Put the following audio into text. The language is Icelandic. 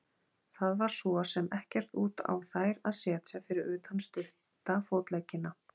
Það var svo sem ekkert út á þær að setja fyrir utan stutta fótleggina.